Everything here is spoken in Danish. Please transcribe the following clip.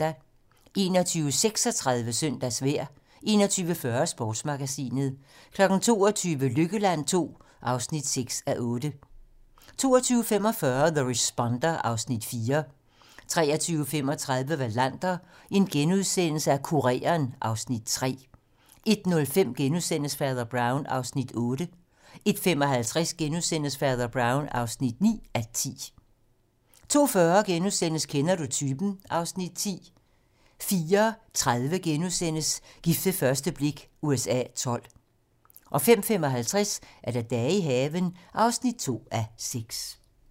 21:36: Søndagsvejr 21:40: Sportsmagasinet 22:00: Lykkeland II (6:8) 22:45: The Responder (Afs. 4) 23:35: Wallander: Kureren (Afs. 3)* 01:05: Fader Brown (8:10)* 01:55: Fader Brown (9:10)* 02:40: Kender du typen? (Afs. 10)* 04:30: Gift ved første blik USA XII * 05:55: Dage i haven (2:6)